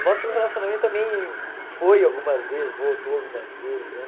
O nosso relacionamento também foi algumas vezes, voltou algumas vezes, né?